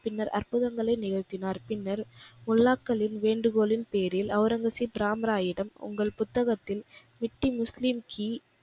பின்னர் அற்ப்புதங்களை நிகழ்த்தினார். பின்னர் முல்லாக்களின் வேண்டுகோளின் பேரில் ஒளரங்கசீப் ராம்ராயிடம் உங்கள் புத்தகத்தில் மிட்டி முஸ்லீம் கீ,